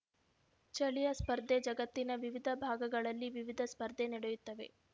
ಚಳಿಯ ಸ್ಪರ್ಧೆ ಜಗತ್ತಿನ ವಿವಿಧ ಭಾಗಗಳಲ್ಲಿ ವಿವಿಧ ಸ್ಪರ್ಧೆ ನಡೆಯುತ್ತವೆ